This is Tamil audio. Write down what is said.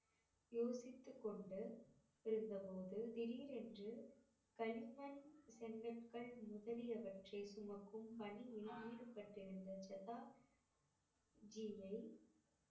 யோசித்து கொண்டு இருந்தபோது திடீரென்று களிமண் செங்கற்கள் முதலியவற்றை சுமக்கும் பணியில் ஈடுபட்டிருந்த ஜதாஜியை